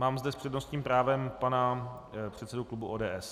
Mám zde s přednostním právem pana předsedu klubu ODS.